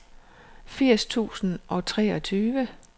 firs tusind og treogtyve